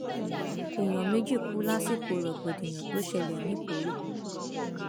èèyàn méjì kú lásìkò rògbòdìyàn tó ṣẹlẹ nìkórè